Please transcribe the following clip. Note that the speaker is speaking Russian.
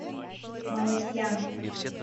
малатья